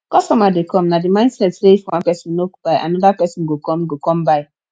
customer dey come na di mindset sey if one person nok buy anoda person go come go come buy